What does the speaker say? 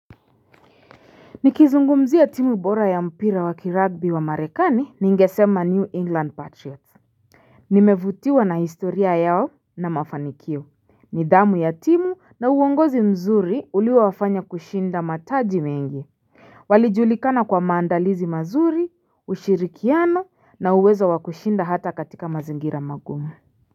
Nikizungumzia ya timu bora ya mpira wa kiragbi wa marekani ningesema New England Patriots Nimevutiwa na historia yao na mafanikio nidhamu ya timu na uongozi mzuri ulio wafanya kushinda mataji mengi Walijulikana kwa maandalizi mazuri, ushirikiano na uwezo wa kushinda hata katika mazingira mangumu.